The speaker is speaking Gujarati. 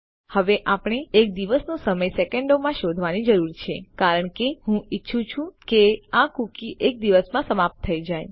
હવે આપણે એક દિવસનો સમય સેકન્ડોમાં શોધવાની જરૂર છે કારણ કે હું ઈચ્છું છું કે આ કૂકી એક દિવસમાં સમાપ્ત થઈ જાય